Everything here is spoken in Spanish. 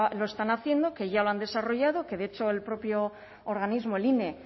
lo están haciendo que ya lo han desarrollado que de hecho el propio organismo el ine